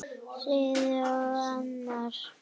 Síðar orti ég annað erindi.